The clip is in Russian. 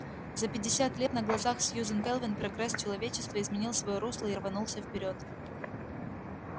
за пятьдесят лет на глазах сьюзен кэлвин прогресс человечества изменил своё русло и рванулся вперёд